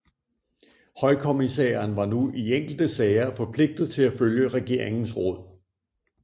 Højkommissæren var nu i enkelte sager forpligtet til at følge regeringens råd